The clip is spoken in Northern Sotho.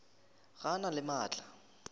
ga a na le maatla